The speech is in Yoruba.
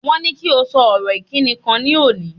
Wọ́n ní kí o sọ ọ̀rọ̀ ìkíni kan ní òní.